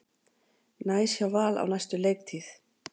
Næs hjá Val á næstu leiktíð